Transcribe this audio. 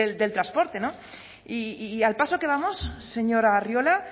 del transporte y al paso que vamos señor arriola